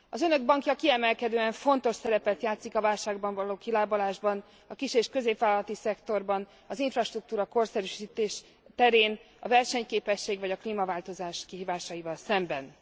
Az Önök bankja kiemelkedően fontos szerepet játszik a válságból való kilábalásban, a kis és középvállalati szektorban, az infrastruktúra korszerűsítése terén, a versenyképesség vagy a klímaváltozás kihívásaival szemben.